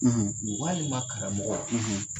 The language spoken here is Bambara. walima karamɔgɔ, .